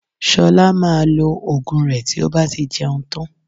Ṣọlá maa lo Ògùn rẹ tí ó bá ti jẹun tán